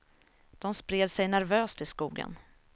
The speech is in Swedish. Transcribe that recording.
De spred sig nervöst i skogen.